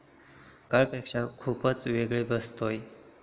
सकाळच्यापेक्षा खुपच वेगळा भासतोय.